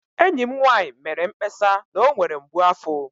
Enyi m nwanyị mere mkpesa na ọ nwere mgbu afo